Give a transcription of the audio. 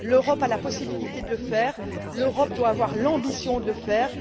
L'Europe a la possibilité de le faire et elle doit avoir l'ambition de le faire.